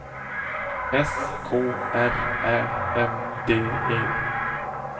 S K R Ä M D E